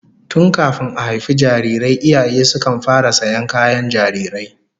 Tun kafin a haifi jarirai iyaye sukan fara sayan kayan jarirai